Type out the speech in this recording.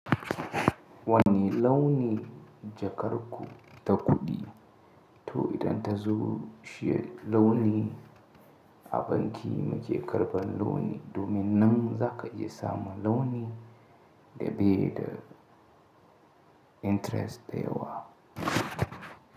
Wani launi jakar ku ta kuɗi? To idan ta zo shi launi a banki muke karɓan launi. Domin nan za ka iya samun launi da dai da interest da yawa.